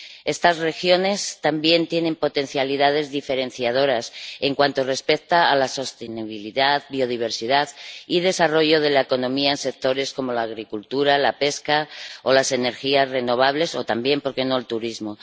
Estas regiones también tienen potencialidades diferenciadoras en cuanto respecta a la sostenibilidad, biodiversidad y desarrollo de la economía en sectores como la agricultura, la pesca o las energías renovables o también, por qué no, el turismo.